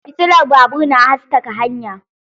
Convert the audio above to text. Fitilar babur na haskaka hanya.